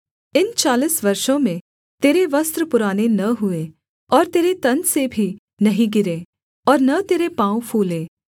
इन चालीस वर्षों में तेरे वस्त्र पुराने न हुए और तेरे तन से भी नहीं गिरे और न तेरे पाँव फूले